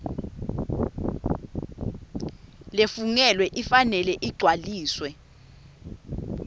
lefungelwe ifanele igcwaliswe